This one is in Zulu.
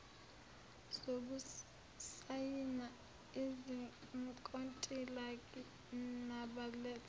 zokusayina izinkontilaki nabaletha